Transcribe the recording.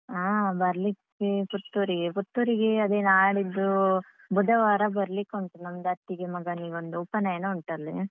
ಹಾ ಬರ್ಲಿಕ್ಕೆ ಪುತ್ತೂರಿಗೆ ಪುತ್ತೂರಿಗೆ ಅದೇ ನಾಳಿದ್ದು ಬುಧವಾರ ಬರ್ಲಿಕುಂಟು ನಮ್ದು ಅತ್ತಿಗೆ ಮಗನಿಗೊಂದ್ ಉಪನಯನ ಉಂಟಾಲ್ಲಿ.